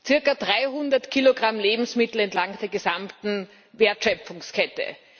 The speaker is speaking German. Cirka 300 Kilogramm Lebensmittel entlang der gesamten Wertschöpfungskette.